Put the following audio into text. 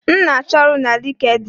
M na-achọ ọrụ na LinkedIn